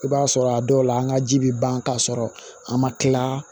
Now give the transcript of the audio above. I b'a sɔrɔ a dɔw la an ka ji bɛ ban k'a sɔrɔ a ma kila